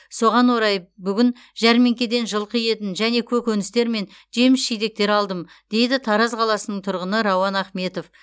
соған орай бүгін жәрмеңкеден жылқы етін және көкөністер мен жеміс жидектер алдым дейді тараз қаласының тұрғын рауан ахметов